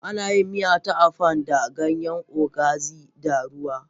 Ana yin miya ta Afang da ganyen okazi da ruwa